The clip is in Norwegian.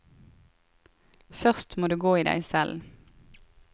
Først må du gå i deg selv.